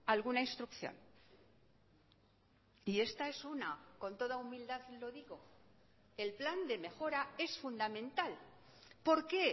alguna instrucción y esta es una con toda humildad lo digo el plan de mejora es fundamental por qué